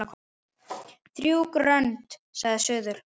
Þrjú grönd sagði suður.